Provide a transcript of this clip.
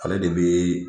Ale de bi